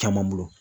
Caman bolo